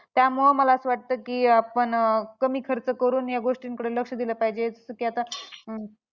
त्यामुळं मला असं वाटतं की आपण कमी खर्च करून या गोष्टींकडे लक्ष दिलं पाहिजे. जसं की आता